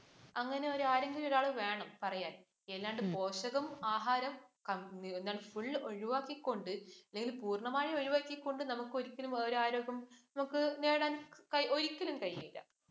അങ്ങനെ ഒരു ആരെങ്കിലും ഒരാളു വേണം പറയാൻ. അല്ലാണ്ട് പോഷകം ആഹാരം full ഒഴിവാക്കിക്കൊണ്ട് ഇവയെല്ലാം പൂർണമായി ഒഴിവാക്കിക്കൊണ്ട് നമുക്കൊരിക്കലും ഒരു ആരോഗ്യം നേടാൻ നമുക്ക് ഒരിക്കലും കഴിയില്ല.